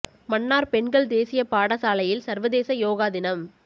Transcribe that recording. மன்னார் பெண்கள் தேசிய பாடசாலையில் சர்வதேச யோகா தினம்